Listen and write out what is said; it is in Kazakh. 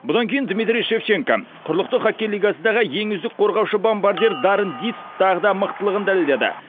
бұдан кейін дмитрий шевченко құрлықтық хоккей лигасындағы ең үздік қорғаушы бомбардир даррен диц тағы да мықтылығын дәлелдеді